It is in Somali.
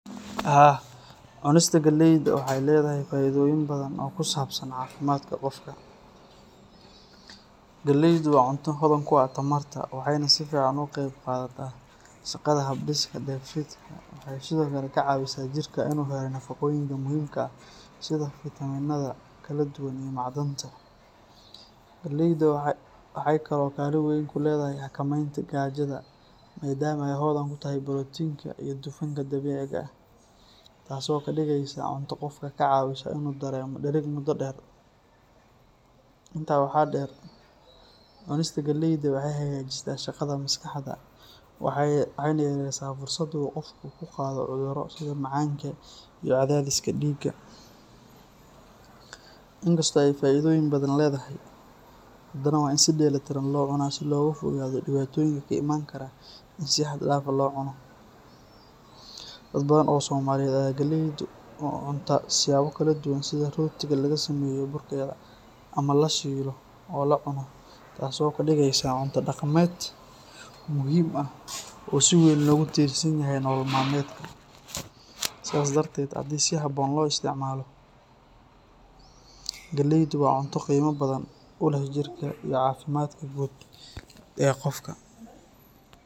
Haa, cunista galeyda waxay leedahay faa’iidooyin badan oo ku saabsan caafimaadka qofka. Galeydu waa cunto hodan ku ah tamarta, waxayna si fiican uga qayb qaadataa shaqada habdhiska dheefshiidka. Waxay sidoo kale ka caawisaa jirka inuu helo nafaqooyinka muhiimka ah sida fiitamiinada kala duwan iyo macdanta. Galeyda waxay kaloo kaalin weyn ku leedahay xakamaynta gaajada maadaama ay hodan ku tahay borotiinka iyo dufanka dabiiciga ah, taasoo ka dhigaysa cunto qofka ka caawisa inuu dareemo dhereg muddo dheer. Intaa waxaa dheer, cunista galeyda waxay hagaajisaa shaqada maskaxda waxayna yaraysaa fursadda uu qofku ku qaado cudurro sida macaanka iyo cadaadiska dhiigga. Inkastoo ay faa’iidooyin badan leedahay, haddana waa in si dheelitiran loo cunaa si looga fogaado dhibaatooyinka ka imaan kara in si xad dhaaf ah loo cuno. Dad badan oo Soomaaliyeed ayaa galeyda u cunta siyaabo kala duwan sida rootiga laga sameeyo burkeeda, ama la shiilo oo la cuno, taasoo ka dhigaysa cunto dhaqameed muhiim ah oo si weyn loogu tiirsan yahay nolol maalmeedka. Sidaas darteed, haddii si habboon loo isticmaalo, galeydu waa cunto qiimo badan u leh jirka iyo caafimaadka guud ee qofka.